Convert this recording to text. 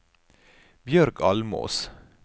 Bjørg Almås